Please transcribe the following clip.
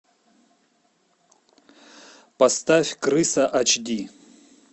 поставь крыса ач ди